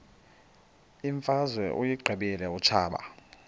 imfazwe uyiqibile utshaba